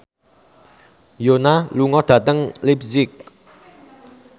Yoona lunga dhateng leipzig